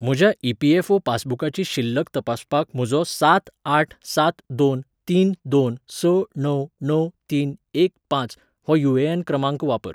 म्हज्या ई.पी.एफ.ओ. पासबुकाची शिल्लक तपासपाक म्हजो सात आठ सात दोन तीन दोन स णव णव तीन एक पांच हो यू.ए.एन. क्रमांक वापर.